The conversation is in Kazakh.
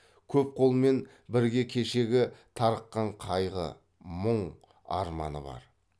көп қолмен бірге кешегі тарыққан қайғы мұң арманы бар